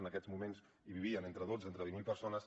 en aquests moments hi vivien entre dotze mil i divuit mil persones